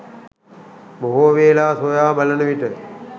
බොහෝ වේලා සොයා බලනවිට